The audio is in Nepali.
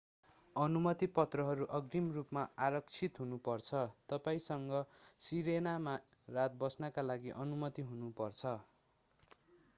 अनुमति पत्रहरू अग्रिम रूपमा आरक्षित हुनु पर्छ तपाईंसँग सिरेनामा रात बस्नका लागि अनुमति हुनु पर्छ